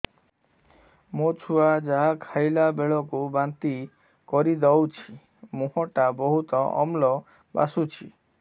ମୋ ଛୁଆ ଯାହା ଖାଇଲା ବେଳକୁ ବାନ୍ତି କରିଦଉଛି ମୁହଁ ଟା ବହୁତ ଅମ୍ଳ ବାସୁଛି